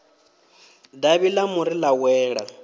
davhi ḽa muri ḽa wela